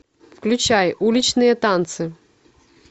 включай уличные танцы